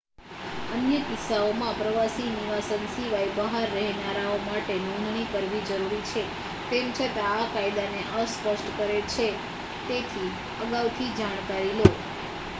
અન્ય કિસ્સાઓમાં પ્રવાસી નિવાસન સિવાય બહાર રહેનારાઓ માટે નોંધણી કરવી જરૂરી છે તેમ છતાં આ કાયદાને અસ્પષ્ટ કરે છે તેથી અગાઉથી જાણકારી લો